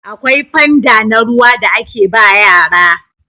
akwai fanda na ruwa da ake ba yara